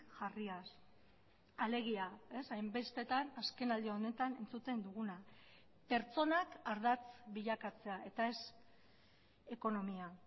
jarriaz alegia hainbestetan azkenaldi honetan entzuten duguna pertsonak ardatz bilakatzea eta ez ekonomia